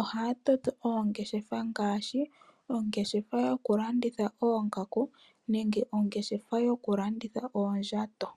Ohaya toto oongeshefa ngaashi, ongeshefa yokulanditha oongaku nenge ongeshefa yokulanditha oondjato.